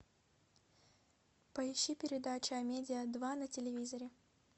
поищи передачу амедиа два на телевизоре